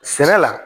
Sɛnɛ la